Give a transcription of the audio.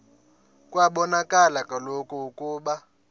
kwabonakala kaloku ukuba